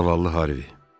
Zaval Harvi.